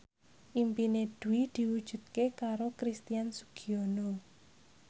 impine Dwi diwujudke karo Christian Sugiono